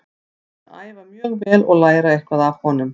Ég mun æfa mjög vel og læra eitthvað af honum.